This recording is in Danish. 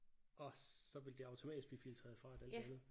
Og så ville det automatisk blive filtreret fra alt det andet